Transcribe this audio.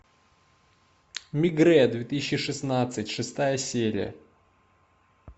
мегрэ две тысячи шестнадцать шестая серия